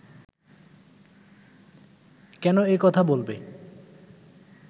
কেন এ কথা বলবে